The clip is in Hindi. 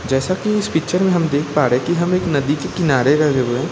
जैसा कि इस पिक्चर में हम देख पा रहे कि हम एक नदी के किनारे --